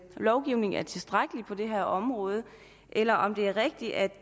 lovgivningen er tilstrækkelig på det her område eller om det er rigtigt at